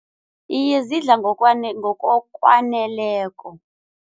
Iye, zidla ngokokwaneleko.